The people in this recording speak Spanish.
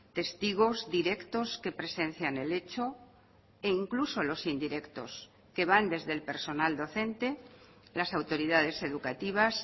testigos directos que presencian el hecho e incluso los indirectos que van desde el personal docente las autoridades educativas